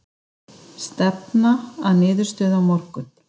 Stefna að niðurstöðu á morgun